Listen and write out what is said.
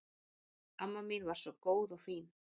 Amma mín var svo góð og fín.